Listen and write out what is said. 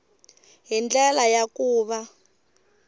hi ndlela ya ku va